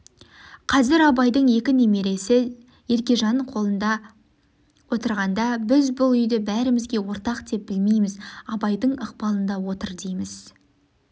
қазір абайдың екі немересі еркежан қолында отырғанда біз бұл үйді бәрімізге ортақ деп білмейміз абайдың ықпалында отыр дейміз